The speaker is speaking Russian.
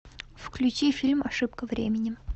включи фильм ошибка времени